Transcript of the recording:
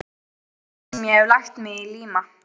Hvernig sem ég hef lagt mig í líma.